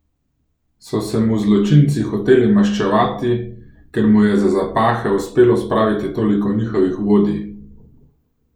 So se mu zločinci hoteli maščevati, ker mu je za zapahe uspelo spraviti toliko njihovih vodij?